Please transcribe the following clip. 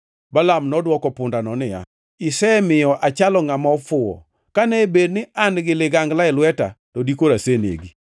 Balaam nodwoko pundano niya, “Isemiya achalo ngʼama ofuwo! Kane bed ni an-gi ligangla e lweta, to dikoro asenegi.”